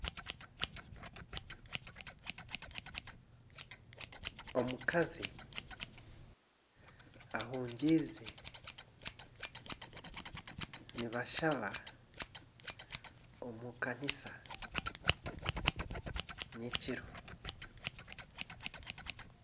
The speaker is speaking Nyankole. Omukazi ahungiize, nibashaba omu kanisa nyekiro.